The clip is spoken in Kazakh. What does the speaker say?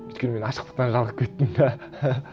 өйткені мен ашықтықтан жалығып кеттім де